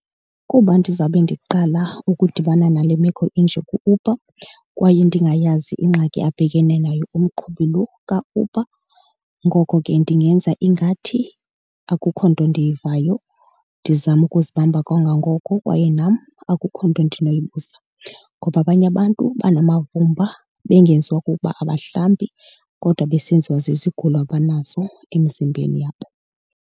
Kuba ndizawube ndiqala ukudibana nale meko enje ku-Uber kwaye ndingayazi ingxaki abhekene nayo umqhubi lo kaUber, ngoko ke ndingenza ingathi akukho nto ndiyivayo ndizame ukuzibamba kangangoko. Kwaye nam akukho nto ndinobuza ngoba abanye abantu banamavumba bengenziwa kukuba abahlambi kodwa besenziwa zizigulo abanazo emizimbeni yabo.